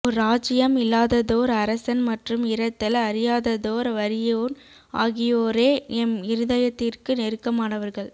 ஓர் இராச்சியம் இல்லாததோர் அரசன் மற்றும் இரத்தல் அறியாததோர் வறியோன் ஆகியோரே எம் இருதயத்திற்கு நெருக்கமானவர்கள்